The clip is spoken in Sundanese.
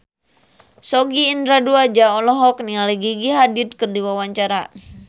Sogi Indra Duaja olohok ningali Gigi Hadid keur diwawancara